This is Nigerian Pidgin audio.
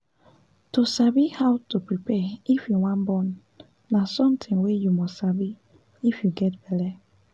to sabi how to prepare if you wan born na something wey u must sabi if you get belle